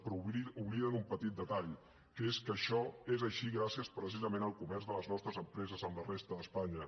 però obliden un petit detall que és que això és així gràcies precisament al comerç de les nostres empreses amb la resta d’espanya